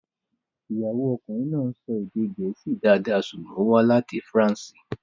Ìyàwó ọkùnrin náà ń sọ èdè Gẹ̀ẹ́sì dáadáa ṣùgbọ́n ó wá láti France.